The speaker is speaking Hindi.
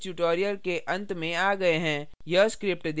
इसी के साथ हम इस tutorial के अंत में आ गये हैं